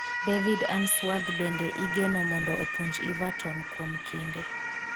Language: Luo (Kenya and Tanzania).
David Unsworth bende igeno mondo opuonj Everton kuom kinde